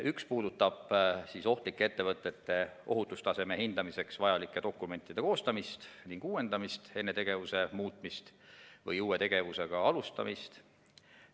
Üks puudutab ohtlike ettevõtete ohutustaseme hindamiseks vajalike dokumentide koostamist ning uuendamist enne tegevuse muutmist või uue tegevusega alustamist.